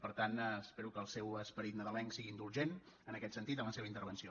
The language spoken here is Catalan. per tant espero que el seu esperit nadalenc sigui indulgent en aquest sentit en la seva intervenció